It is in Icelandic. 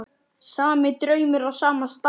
Sami draumur á sama stað.